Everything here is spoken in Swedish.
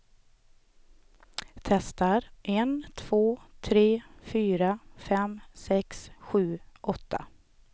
Testar en två tre fyra fem sex sju åtta.